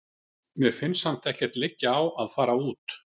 Mér finnst samt ekkert liggja á að fara út.